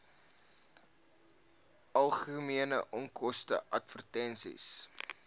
algemene onkoste advertensies